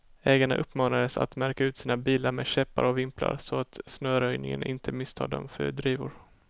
Ägarna uppmanades att märka ut sina bilar med käppar och vimplar, så att snöröjningen inte misstar dem för drivor.